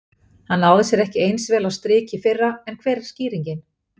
Hann náði sér ekki eins vel á strik í fyrra en hver er skýringin?